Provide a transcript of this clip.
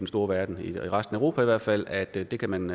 store verden i resten af europa i hvert fald at det kan man